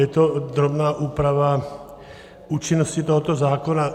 Je to drobná úprava účinnosti tohoto zákona.